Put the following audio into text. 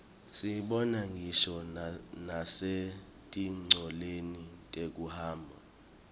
siyibona ngisho nasetincoleni tekuhamba